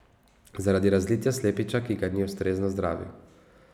Zaradi razlitja slepiča, ki ga ni ustrezno zdravil.